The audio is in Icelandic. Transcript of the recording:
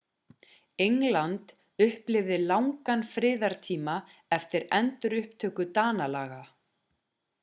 england upplifði langan friðartíma eftir endurupptöku danalaga